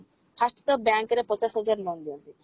first ତ bank ରେ ପଚାଶ ହଜାର loan ଦିଅନ୍ତି